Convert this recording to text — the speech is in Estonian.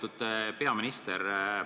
Lugupeetud peaminister!